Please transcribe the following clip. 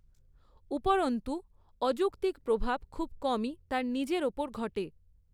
ওপরন্তু, অযৌক্তিক প্রভাব খুব কমই তার নিজের ওপর ঘটে।